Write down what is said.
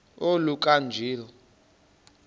oluka ka njl